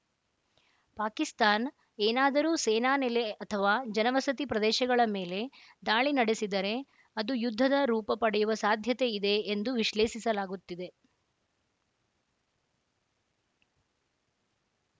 ಪಾಕಿಸ್ತಾನ್ ಏನಾದರೂ ಸೇನಾ ನೆಲೆ ಅಥವಾ ಜನವಸತಿ ಪ್ರದೇಶಗಳ ಮೇಲೆ ದಾಳಿ ನಡೆಸಿದರೆ ಅದು ಯುದ್ಧದ ರೂಪ ಪಡೆಯುವ ಸಾಧ್ಯತೆ ಇದೆ ಎಂದು ವಿಶ್ಲೇಷಿಸಲಾಗುತ್ತಿದೆ